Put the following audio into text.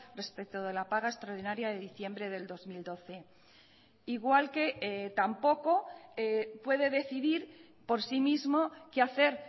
respecto de la paga extraordinaria de diciembre del dos mil doce igual que tampoco puede decidir por sí mismo qué hacer